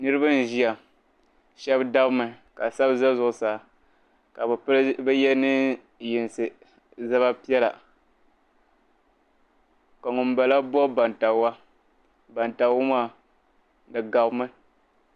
Niribi n ʒiya shabi sabimi, ka shabi ʒɛ zuɣu saa, kabi ye neen' yinsi, ni zaba pɛla. ka ŋun bala bɔb bantabiga bantabiga maa di gabimi .